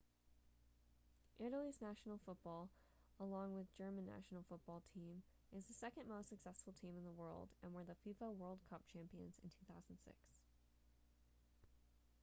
italy's national football along with german national football team is the second most successful team in the world and were the fifa world cup champions in 2006